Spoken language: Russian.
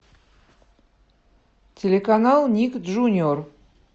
телеканал ник джуниор